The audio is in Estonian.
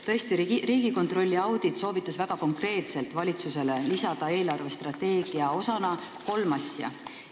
Tõesti, Riigikontrolli audit soovitas valitsusele väga konkreetselt lisada eelarvestrateegia osadena kolm asja.